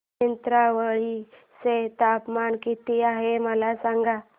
नेत्रावळी चे तापमान किती आहे मला सांगा